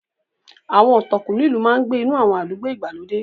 Àwọn ọ̀tọ̀kúlú ìlú máa ń gbé inú àwọn àdúgbò ìgbàlódé.